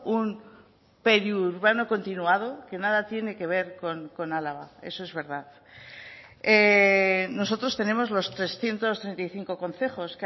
un periurbano continuado que nada tiene que ver con álava eso es verdad nosotros tenemos los trescientos treinta y cinco concejos